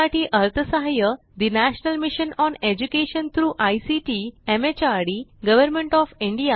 यासाठी अर्थसहाय्य national mission on education through ICT MHRD government of India यांच्याकडून मिळालेले आहे